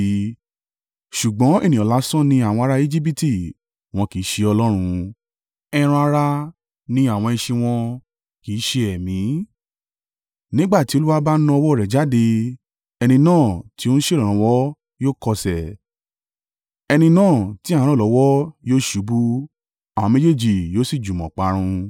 Ṣùgbọ́n ènìyàn lásán ni àwọn ará Ejibiti wọn kì í ṣe Ọlọ́run; ẹran-ara ni àwọn ẹṣin wọn, kì í ṣe ẹ̀mí. Nígbà tí Olúwa bá na ọwọ́ rẹ̀ jáde, ẹni náà tí ó ń ṣèrànwọ́ yóò kọsẹ̀, ẹni náà tí à ń ràn lọ́wọ́ yóò ṣubú; àwọn méjèèjì yóò sì jùmọ̀ parun.